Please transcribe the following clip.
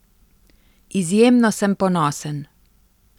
Izjemno sem ponosen.